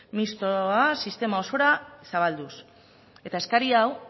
mixtoa sistema osora zabalduz eta eskari hau